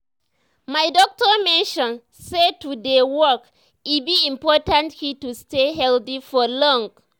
my doctor mention say to dey walk e be important key to stay healthy for long.